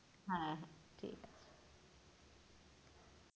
হ্যাঁ হ্যাঁ।